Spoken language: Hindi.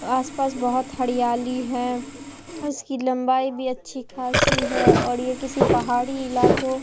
आस पास बहुत हरियाली है उसकी लंबाई भी अच्छी खासी है और यह किसी पहाड़ी इलाकों--